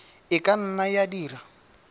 e ka nna ya dira